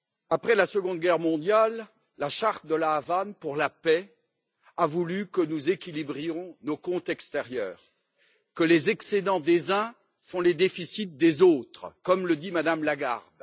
Après la Seconde Guerre mondiale, la charte de La Havane pour la paix a voulu que nous équilibrions nos comptes extérieurs, que les excédents des uns fassent les déficits des autres, comme le dit Mme Lagarde.